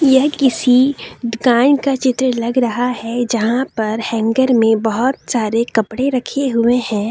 यह किसी दुकान का चित्र लग रहा है जहां पर हैंगर में बहुत सारे कपड़े रखे हुए हैं।